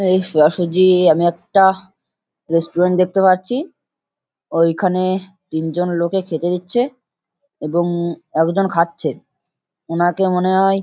এই সোজাসুজি আমি একটা-হ রেস্টুরেন্ট দেখতে পারছি। ওইখানে তিনজন লোকে খেতে দিচ্ছে এবং একজন খাচ্ছে। ওনাকে মনে হয়--